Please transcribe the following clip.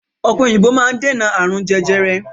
Ọ̀pẹ̀ òyìnbò máa ń dènà ààrùn jẹjẹrẹ.